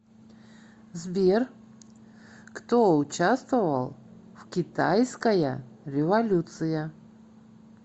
сбер кто участвовал в китайская революция